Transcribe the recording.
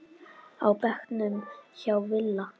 á bekknum hjá Villa.